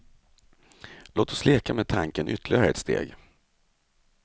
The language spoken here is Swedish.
Låt oss leka med tanken ytterligare ett steg.